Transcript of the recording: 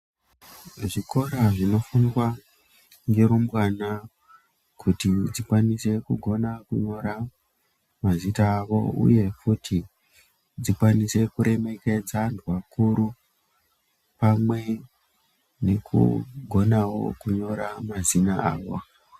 Zvikora zvinofundwa ngerumbwana kuti dzikwanise kugona kunyora mazita awo, uye futi dzikwanise kuremekedze vanhu vakuru, pamwe nekugonawo kunyora mazina avo.